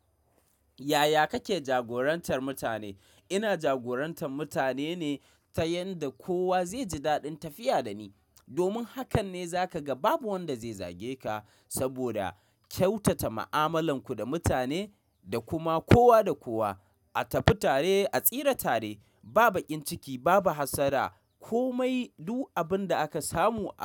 Yaya kake jagorantar mutane? Ina jagorantan mutane ne ta yanda kowa zai ji daɗin tafiya da ni. Domin hakan ne za ka ga babu wanda zai zage ka saboda kyautata mu'amalanku da mutane da kuma kowa da kowa. A tafi tare, a tsira tare, ba baƙin ciki, babu hassada, komai duk abin da aka samu a.